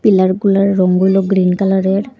পিলারগুলার রং গুলো গ্রিন কালারের।